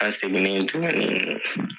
An seginen tuma mina;